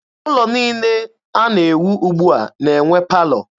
Ụlọ niile a na-ewu ugbua na-enwe palọ.